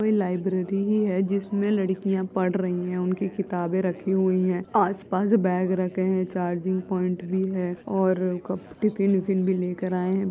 कोई लाइब्रेरी ही है जिसमें लड़कियां पढ़ रही हैं उनकी किताबे रखी हुई हैं। आसपास बेग रखे हैं चार्जिंग पॉइंट भी है और क टिफिन बिफिन भी लेकर आए हैं।